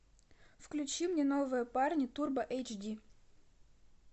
включи мне новые парни турбо эйч ди